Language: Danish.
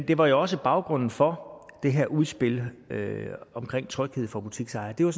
det var jo også baggrunden for det her udspil om tryghed for butiksejere det var